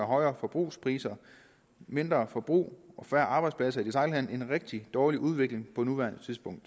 højere forbrugspriser mindre forbrug og færre arbejdspladser i detailhandelen en rigtig dårlig udvikling på nuværende tidspunkt